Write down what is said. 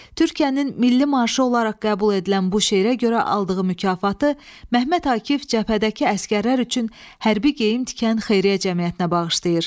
Türkiyənin milli marşı olaraq qəbul edilən bu şeirə görə aldığı mükafatı Mehmet Akif cəbhədəki əsgərlər üçün hərbi geyim tikan xeyriyyə cəmiyyətinə bağışlayır.